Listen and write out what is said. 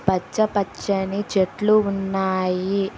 పచ్చ పచ్చని చెట్లు ఉన్నాయి.